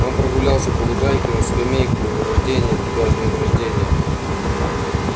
он прогулялся по лужайке на скамейку рожденья тебя с днём рожденья